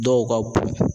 Dɔw ka b